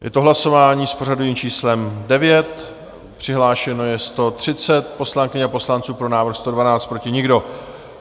Je to hlasování s pořadovým číslem 9, přihlášeno je 130 poslankyň a poslanců, pro návrh 112, proti nikdo.